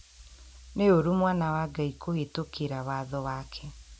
Nĩ ũru mwana wa Ngai kũhĩtũkĩra watho wake